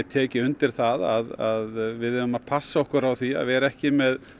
tekið undir það að við eigum að passa okkur því að vera ekki með